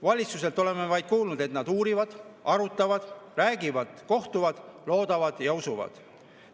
Valitsuselt oleme vaid kuulnud, et nad uurivad, arutavad, räägivad, kohtuvad, loodavad ja usuvad.